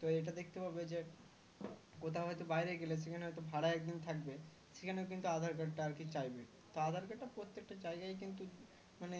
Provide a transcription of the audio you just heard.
তো এটা দেখতে পাবে যে কোথাও হয়তো বাইরে গেলে সেখানে হয়তো ভাড়ায় একদিন থাকবে সেখানেও কিন্তু aadhar card টা আর কি চাইবে তো aadhar card টা প্রত্যেকটা জায়গায় কিন্তু মানে